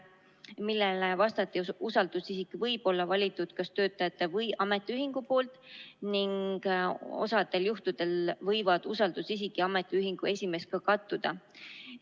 Sellele vastati, et usaldusisik võib olla valitud kas töötajate või ametiühingu poolt ning osadel juhtudel võivad usaldusisik ja ametiühingu esimees kattuda.